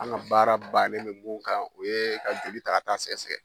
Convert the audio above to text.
An ka baara bannen mɛ mun kan u ye ka joli ta ka taa sɛgɛsɛ.